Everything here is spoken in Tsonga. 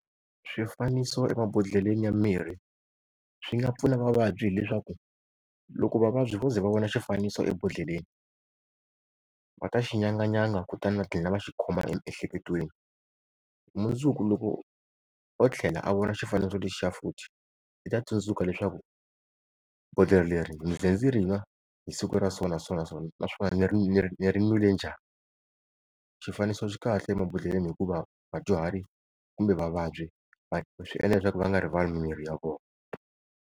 Swifaniso emabodhleleni ya mirhi swi nga pfuna vavabyi hileswaku, loko vavabyi vo ze va vona xifaniso ebodhleleni va ta xinyanganyanga kutani va gina va xikhoma emiehleketweni. Mundzuku loko o tlhela a vona xifaniso lexiya futhi i ta tsundzuka leswaku bodhlela leri ni ze ndzi ri n'wa hi siku ra so na so na so, naswona ni ni ri n'wile njhani. Xifaniso xi kahle emabodhleleni hikuva vadyuhari kumbe vavabyi swi endla leswaku va nga rivali mimirhi ya vona.